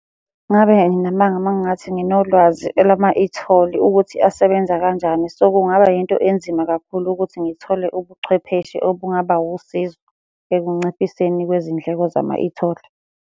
Ngabe nginamanga uma ngingathi nginolwazi elama-e-toll ukuthi asebenza kanjani. So, kungaba yinto enzima kakhulu ukuthi ngithole ubuchwepheshe obungaba wusizo ekunciphiseni kwezindleko zama-e-toll.